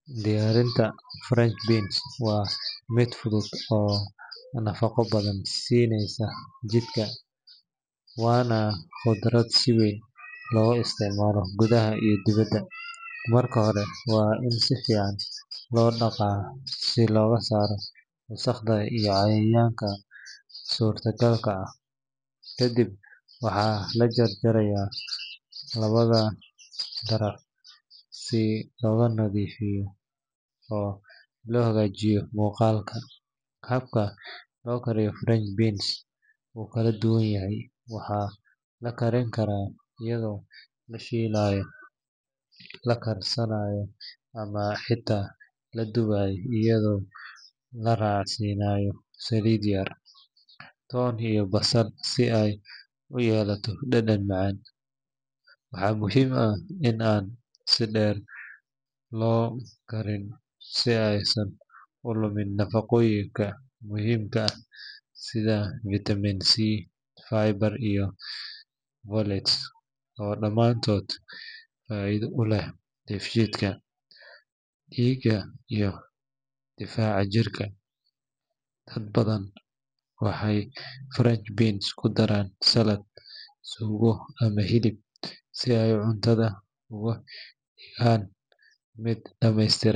Diyaarinta french beans waa mid fudud oo nafaqo badan siineysa jidhka, waana khudrad si weyn looga isticmaalo gudaha iyo dibadda. Marka hore, waa in si fiican loo dhaqaa si looga saaro wasakhda iyo cayayaanka suurtagalka ah. Kadib waxaa la jarjarayaa labada daraf si loo nadiifiyo oo loo hagaajiyo muuqaalka. Habka loo kariyo french beans wuu kala duwan yahay—waxaa la karin karaa iyadoo la shiilayo, la karsanayo ama xitaa la dubayo iyadoo la raacsiinayo saliid yar, toon iyo basasha si ay u yeelato dhadhan macaan. Waxaa muhiim ah in aan si dheer loo karin si aysan u lumin nafaqooyinka muhiimka ah sida vitamin C, fiber, iyo folate oo dhammaantood faa’iido u leh dheefshiidka, dhiigga iyo difaaca jirka. Dad badan waxay french beans ku daraan saladh, suugo ama hilib si ay cuntada uga dhigaan mid dhammaystiran.